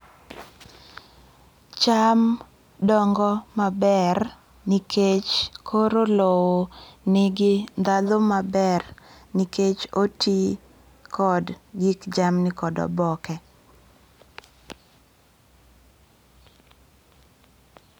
Cham dongo maber nikech koro lowo nigi ndhadhu maber nikech oti kod gik jamni kod oboke.